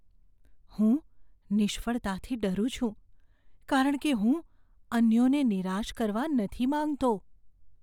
હું નિષ્ફળતાથી ડરું છું કારણ કે હું અન્યોને નિરાશ કરવા નથી માંગતો.